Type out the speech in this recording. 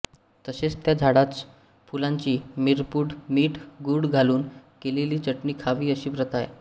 तसेच त्या झाडाच्य फुलांची मिरपूड मीठ गुळ घालून केलेली चटणी खावी अशी प्रथा आहे